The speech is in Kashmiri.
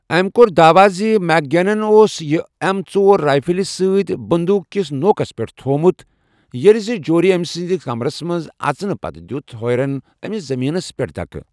أمۍ کوٚر داوٕ زِ میک گیگنَن اوس یہِ ایم ژور رائفلہِ سۭتۍ 'بندوق کِس نوکس پٮ۪ٹھ تھوومُت' ییٚلہِ زِ جورۍ أمۍ سٕنٛدِ کمرَس منٛز اَژنہٕ پتہٕ دِیُت ہوئرَن أمِس زٔمیٖنَس پٮ۪ٹھ دھکہٕ۔